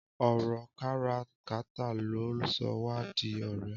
Ọrọ kàrà kàtà ló sọ wà di ọrẹ